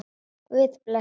Guð blessi hana.